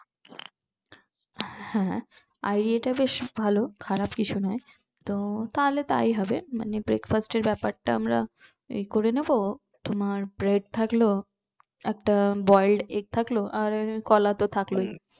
হ্যাঁ idea টা বেশ ভালো খারাপ কিছু না তো তাহলে তাই হবে মানে breakfast এর ব্যাপারটা আমরা এই করে নিবো তোমার bread থাকলো একটা boiled egg থাকলো আর কলা তো থাকলই